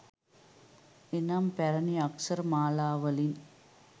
එනම්, පැරැණි අක්ෂර මාලාවලින්